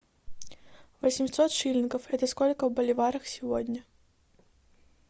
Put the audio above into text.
восемьсот шиллингов это сколько в боливарах сегодня